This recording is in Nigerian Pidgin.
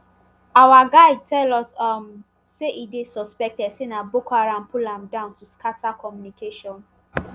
our guide tell us um say e dey suspected say na boko haram pull am down to scata communication.